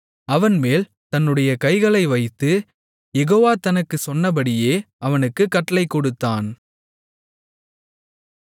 அவன்மேல் தன்னுடைய கைகளை வைத்து யெகோவா தனக்குச் சொன்னபடியே அவனுக்குக் கட்டளைகொடுத்தான்